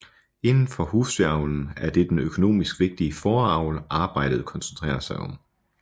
Indenfor husdyravlen er det den økonomisk vigtige fåreavl arbejdet koncentrerer sig om